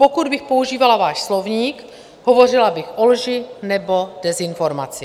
Pokud bych používala váš slovník, hovořila bych o lži nebo dezinformaci.